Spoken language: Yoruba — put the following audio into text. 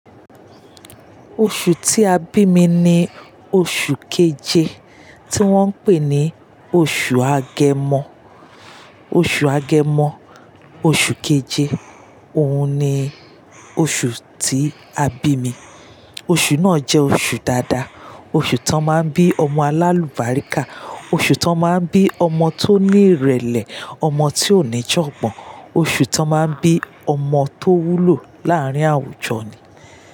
Oṣù tí a bí mi ni oṣù keje tí wọ́n ń pè ní oṣù Agẹmọ. Oṣù Agẹmọ, oṣù keje, òun ni oṣù tí a bí mi. Oṣù náà jẹ́ oṣù dáadáa, oṣù tó máa ń bí ọmọ alálùbáríkà, oṣù tó máa ń bí ọmọ tó ní ìrẹ̀lẹ̀, ọmọ tí ó ní ìjọ̀gbọn, oṣù tó máa ń bí ọmọ tó wúlò láàrín àwùjọ ni.